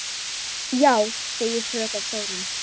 Já, segir fröken Þórunn.